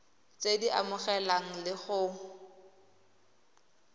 tse di amanang le go